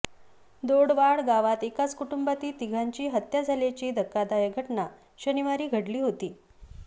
दोडवाड गावात एकाच कुटुंबातील तिघांची हत्या झाल्याची धक्कादायक घटना शनिवारी घडली होती